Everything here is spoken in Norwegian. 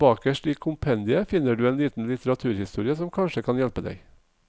Bakerst i kompendiet finner du en liten litteraturliste som kanskje kan hjelpe deg.